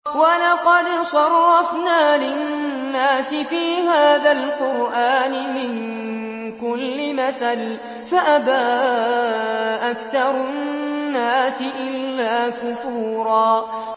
وَلَقَدْ صَرَّفْنَا لِلنَّاسِ فِي هَٰذَا الْقُرْآنِ مِن كُلِّ مَثَلٍ فَأَبَىٰ أَكْثَرُ النَّاسِ إِلَّا كُفُورًا